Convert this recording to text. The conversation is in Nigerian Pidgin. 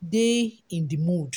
de in di mood